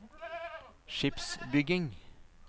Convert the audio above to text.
skipsbygging